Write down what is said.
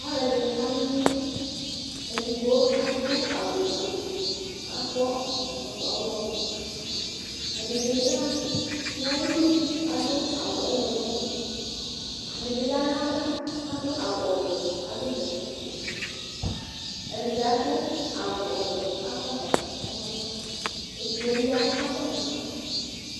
Alʋ ɛdini kana ɔlʋ edigbo adʋ awʋ ofue kʋ akɔ ɛkɔtɔ ɔwlɔmɔ ɛdibi yanʋ ayili kʋ adʋ awʋ ɔwlɔmɔ sʋ ɛdibi yanʋ ayʋ ava adʋ awʋ ɔvɛ adʋ bɛtɛ ofue ɛdibi adʋ awʋ ɔwʋɛ akɔ ɛkɔtɔ ɔwlɔmɔ sʋ edigbo bi ya kakɔsʋ ma